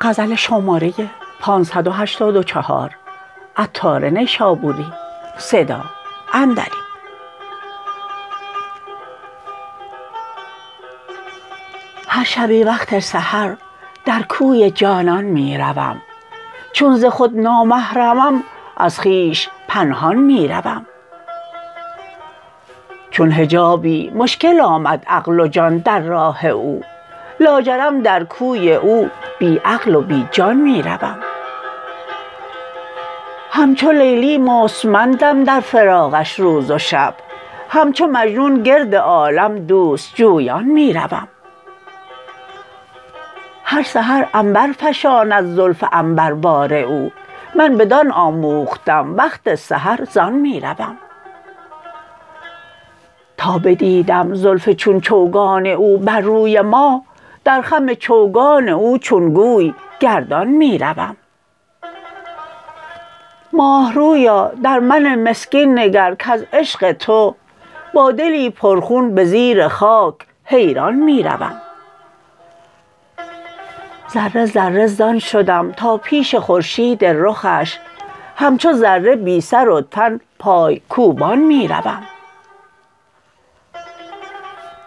هر شبی وقت سحر در کوی جانان می روم چون ز خود نامحرمم از خویش پنهان می روم چون حجابی مشکل آمد عقل و جان در راه او لاجرم در کوی او بی عقل و بی جان می روم همچو لیلی مستمندم در فراقش روز و شب همچو مجنون گرد عالم دوست جویان می روم هر سحر عنبر فشاند زلف عنبر بار او من بدان آموختم وقت سحر زان می روم تا بدیدم زلف چون چوگان او بر روی ماه در خم چوگان او چون گوی گردان می روم ماهرویا در من مسکین نگر کز عشق تو با دلی پر خون به زیر خاک حیران می روم ذره ذره زان شدم تا پیش خورشید رخش همچو ذره بی سر و تن پای کوبان می روم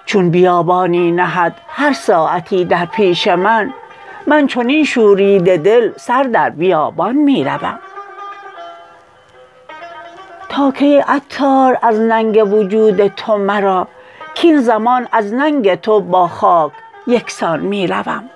چون بیابانی نهد هر ساعتی در پیش من من چنین شوریده دل سر در بیابان می روم تا کی ای عطار از ننگ وجود تو مرا کین زمان از ننگ تو با خاک یکسان می روم